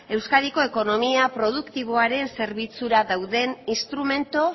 euskadiko ekonomia produktiboaren zerbitzura dauden instrumentu